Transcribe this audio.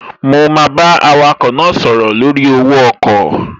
Mo máa bá awakọ̀ náà sọ̀rọ̀ lórí owó ọkọ̀